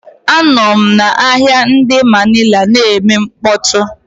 Anọm na ahịa ndi Manila na-eme mkpọtụ.